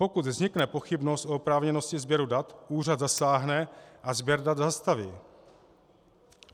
Pokud vznikne pochybnost o oprávněnosti sběru dat, úřad zasáhne a sběr dat zastaví.